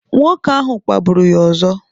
Nwoke ahụ kpagburu ya ọzọ.